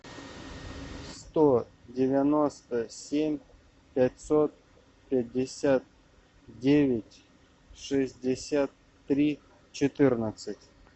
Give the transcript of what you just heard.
сто девяносто семь пятьсот пятьдесят девять шестьдесят три четырнадцать